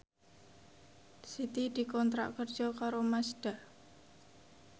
Siti dikontrak kerja karo Mazda